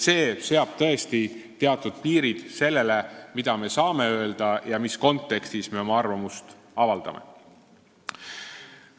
See seab tõesti teatud piirid sellele, mida me saame öelda ja mis kontekstis me oma arvamust avaldame.